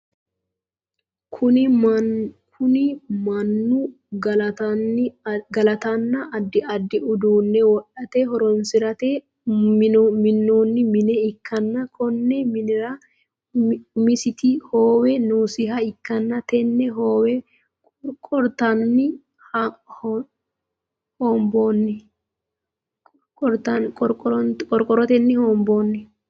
Kunni Manu galatenna addi addi uduune wodhate horoonsirate minoonni mine ikanna konni minnira umisiti hoowe noosiha ikanna tenne hoowe qorqorotenni hoonboonni.